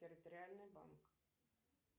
территориальный банк